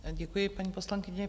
Děkuji, paní poslankyně.